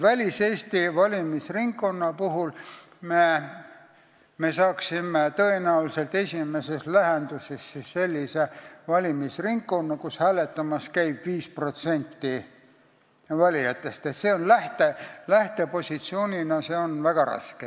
Väliseesti valimisringkonna puhul me saaksime tõenäoliselt esimeses lähenduses sellise valimisringkonna, kus hääletamas käib 5% valijatest – see on väga raske lähtepositsioon.